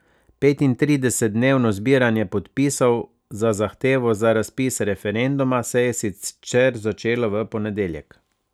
Petintridesetdnevno zbiranje podpisov za zahtevo za razpis referenduma se je sicer začelo v ponedeljek.